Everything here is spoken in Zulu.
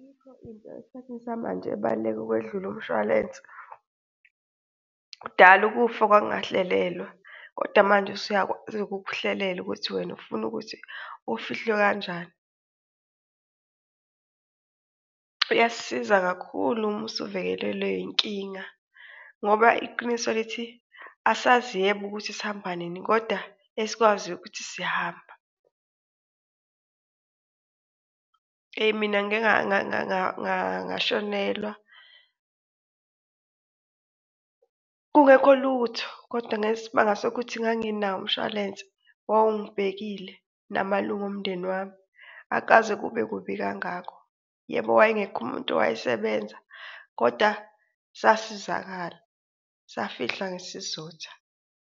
Ayikho into esikhathini samanje ebaluleke ukwedlula umshwalense. Kudala ukufa kwakungahlelelwa kodwa manje usuyakwazi ukukuhlelela ukuthi wena ufuna ukuthi ufihlwe kanjani. Iyasisiza kakhulu uma usuvelelwe yinkinga ngoba iqiniso lithi asazi yebo ukuthi sihamba nini koda esikwaziyo ukuthi siyahamba. Eyi mina ngike ngashonelwa kungekho lutho kodwa ngesimanga sokuthi nganginawo umshwalense wawungibhekile namalunga omndeni wami, akukaze kube kubi kangako. Yebo, wayengekho umuntu owayesebenza kodwa sasizakala safihla ngesizotha.